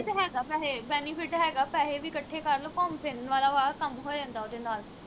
ਹੈਗਾ ਵੈਹੇ benefit ਹੈਗਾ ਪੈਹੇ ਵੀ ਇਕੱਠੇ ਕਰ ਲੋ ਘੁੰਮ ਫਿਰਨ ਵਾਲਾ ਵਾ ਕੰਮ ਹੋ ਜਾਂਦਾ ਉਹਦੇ ਨਾਲ